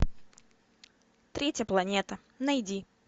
третья планета найди